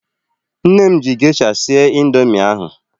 Nne m ji gesha sie indoomị ahu